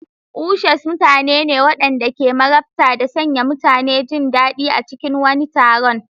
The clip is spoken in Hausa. Ushers mutane ne waɗanda ke marabta da sanya mutane jin daɗi a cikin wani taron.